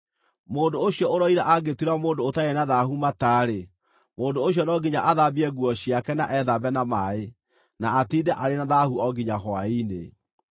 “ ‘Mũndũ ũcio ũroira angĩtuĩra mũndũ ũtarĩ na thaahu mata-rĩ, mũndũ ũcio no nginya athambie nguo ciake na ethambe na maaĩ, na atiinde arĩ na thaahu o nginya hwaĩ-inĩ.